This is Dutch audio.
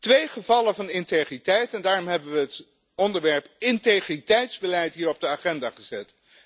Twee gevallen van integriteit en daarom hebben we het onderwerp integriteitsbeleid hier op de agenda gezet.